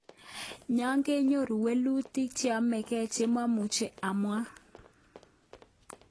Ngakeyoru mwelutik cheapenge che mamuche amwang.